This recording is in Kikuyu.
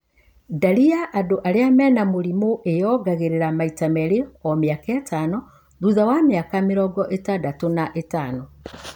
Ndari ya andũ arĩa mena mũrimũ ĩyongagĩrĩra maita merĩ o mĩaka ĩtano, thutha wa mĩaka mĩrongo ĩtandatu na ĩtano